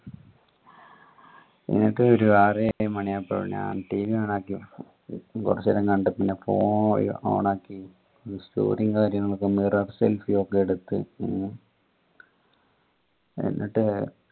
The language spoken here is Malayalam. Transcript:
ഒരു ആറേഴ് മണിയാവുമ്പോ ഞാൻ TVon ആക്കി കൊറച് നേരം കണ്ട് പിന്നെ phone on ആക്കി ഈ story കാര്യങ്ങളൊക്കെ mirror selfie ഒക്കെ എടുത്ത് ഹും എന്നിട്ട്